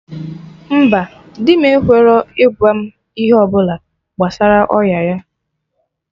Mba, dị m ekwerọ ịgwa m ihe ọbụla gbasara ọya ya